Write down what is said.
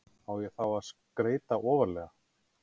Á ég þá að skreyta ofarlega?